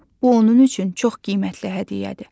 bu onun üçün çox qiymətli hədiyyədir.